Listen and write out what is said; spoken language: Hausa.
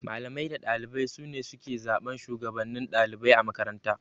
Malamai da ɗalibai sune suke zaɓan Shugabannin ɗalibai a makaranta